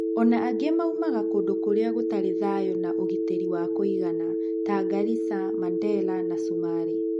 Ona angĩ maumaga kũndũ kũrĩa gũtarĩ thayũ na ũhitĩri wa kũigana ta Garisa, Mandera na cumarĩ.